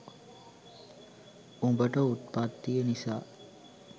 උඹට උත්පත්තිය නිසා